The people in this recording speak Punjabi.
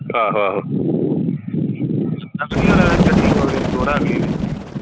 ਦੱਸ ਕੀ ਗੱਡੀ ਵਾਲੇ ਨੇ